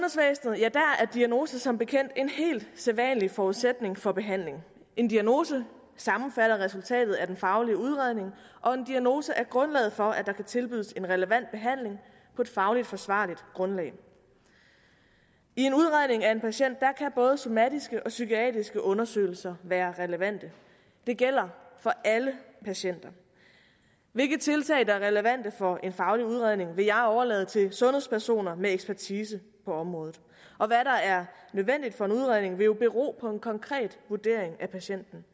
diagnose som bekendt en helt sædvanlig forudsætning for behandling en diagnose sammenfatter resultatet af den faglige udredning og en diagnose er grundlaget for at der kan tilbydes en relevant behandling på et fagligt forsvarligt grundlag i en udredning af en patient kan både somatiske og psykiatriske undersøgelser være relevante det gælder for alle patienter hvilke tiltag der er relevante for en faglig udredning vil jeg overlade til sundhedspersoner med ekspertise på området og hvad der er nødvendigt for en udredning vil jo bero på en konkret vurdering af patienten